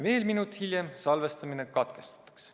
Veel minut hiljem salvestamine katkestatakse.